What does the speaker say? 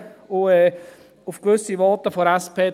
Auf gewisse Voten der SP …